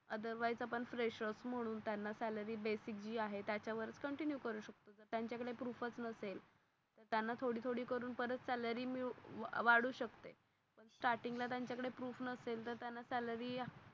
otherwise आपण fresher म्हणून salary basic जी आहे त्याच्या वर च continue करू शकतो. त्यान च्या कडे proof च नसेल त्यांना थोडी थोडी करून परत salary मिळू वाढू शकते. staring ल त्यांच्या कडे proof नसेल तर त्यांना salary